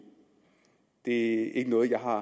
det er ikke noget jeg har